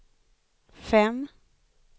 fem